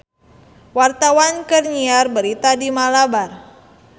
Wartawan keur nyiar berita di Malabar